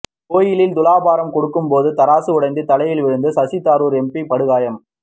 கோயிலில் துலாபாரம் கொடுக்கும்போது தராசு உடைந்து தலையில் விழுந்து சசிதரூர் எம்பி படுகாயம்